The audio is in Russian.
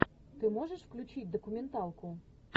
ты можешь включить документалку